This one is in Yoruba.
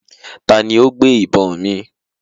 Taàní ó gbé ìbọn mi?